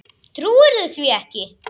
Trúirðu því ekki?